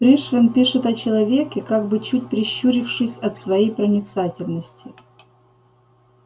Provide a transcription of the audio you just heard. пришвин пишет о человеке как бы чуть прищурившись от своей проницательности